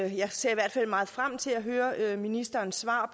jeg ser i hvert fald meget frem til at høre ministerens svar